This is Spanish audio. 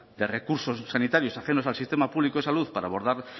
de recursos sanitarios ajenos al sistema público de salud para abordar